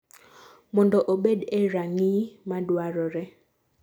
mondo obed e ranginy maduarore